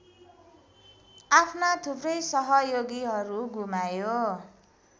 आफ्ना थुप्रै सहयोगीहरु गुमायो